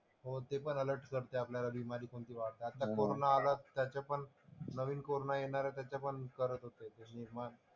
हो ते पण अलर्ट करते आपल्याला बिमारी कोणती वाढतात. आता कोरोना आला ते त्याचे पण नवीन कोरोना येणार आहे त्याचंपण करत होते निर्माण.